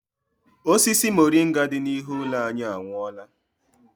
Osisi moringa dị n'ihu ụlọ anyị anwụọọla.